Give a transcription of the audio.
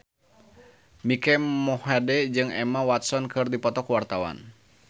Mike Mohede jeung Emma Watson keur dipoto ku wartawan